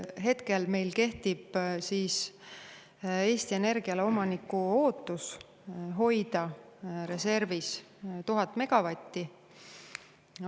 Hetkel meil kehtib Eesti Energiale omaniku ootus hoida reservis 1000 megavatti.